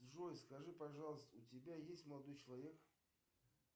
джой скажи пожалуйста у тебя есть молодой человек